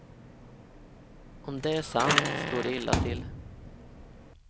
Om det är sant står det illa till.